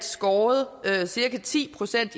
skåret cirka ti procent